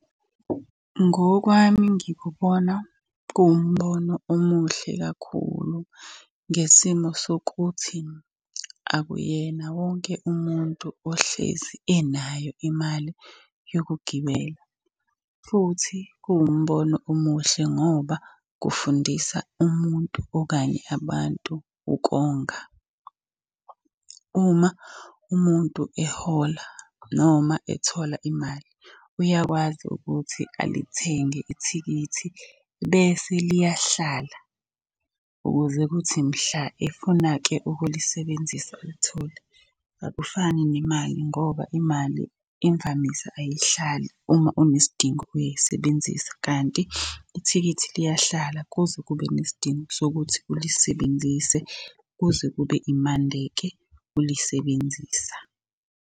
Ngokwami ngikubona kuwumbono omuhle kakhulu, ngesimo sokuthi akuyena wonke umuntu ohlezi enayo imali yokugibela. Futhi kuwumbono omuhle ngoba kufundisa umuntu okanye abantu ukonga. Uma umuntu ehola noma ethola imali, uyakwazi ukuthi alithenge ithikithi bese liyahlala ukuze kuthi mhla efuna-ke ukulisebenzisa awulitholi. Akufani nemali ngoba imali imvamisa ayihlali uma unesidingo uyayisebenzisa kanti ithikithi liyahlala kuze kube nesidingo sokuthi ulisebenzise, kuze kube imande-ke ulisebenzisa.